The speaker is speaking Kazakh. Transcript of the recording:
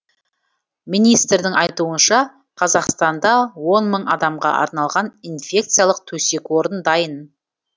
министрдің айтуынша қазақстанда он мың адамға арналған инфекциялық төсек орын дайын